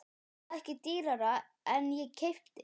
Ég sel það ekki dýrara en ég keypti.